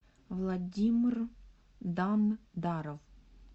владимир дандаров